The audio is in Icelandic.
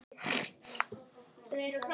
Hvernig þvoum við fötin?